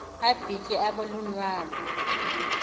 abhitye abe lunwabu